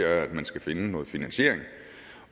at man skal finde noget finansiering